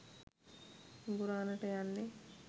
හිඟුරාණට යන්නෙ